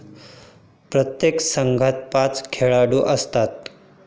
प्रत्येक संघात पाच खेळाडू असतात.